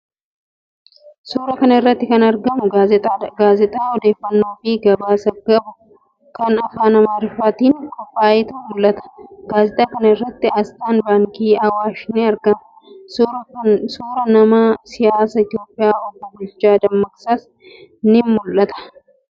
Suuraa kana irratti kan argamu gaazexaadha. Gaazexaa odeeffannoofi gabaasa qabu kan afaan Amaaraatiin qophaa'etu mul'ata. Gaazexaa kana irratti aasxaan Baankii Awwaash ni argama. Suuraan nama siyaasaa Itiyoophiyaa Obbo Bulchaa Dammaqsaas ni mul'ata.